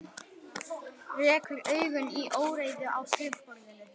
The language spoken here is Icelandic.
Rekur augun í óreiðu á skrifborðinu.